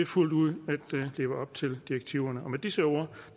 fuldt ud at leve op til direktiverne og med disse ord